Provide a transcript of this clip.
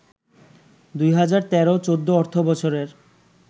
২০১৩-১৪ অর্থবছরের